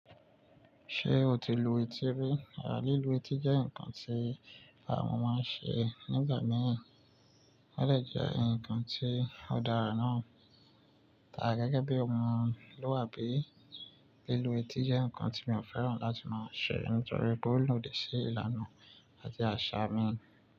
Ṣé o ti lu etí rí? À lí lu etí jẹ́ nǹkan tí àwọn ọmọ ń ṣe nígbà mìíràn, ó lè jẹ́ ǹnkan tí ó dára náà. Tàbí gẹ́gẹ́ bí ọmọlúàbí, lílu etí jẹ́ ǹnkan tí mi ò fẹ́ràn láti máa ṣe nítorí pé ólodi sí ìlànà àti àṣà mi.